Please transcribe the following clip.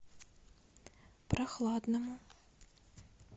прохладному